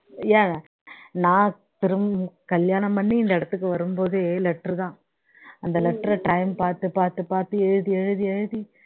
ஏன் நான் திரும் கல்யாணம் பண்ணி இந்த இடத்துக்கு வரும் போதே letter தான் அந்த letter ர time பார்த்து பார்த்து பார்த்து எழுதி எழுதி எழுதி